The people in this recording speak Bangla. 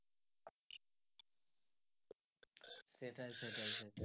সেটাই সেটাই সেটাই।